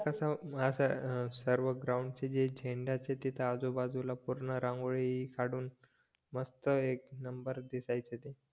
ते असं सर्व ग्राउंडचे तिथे आजूबाजूला पूर्ण रांगोळी काढून मस्त एक नंबर दिसायचे तू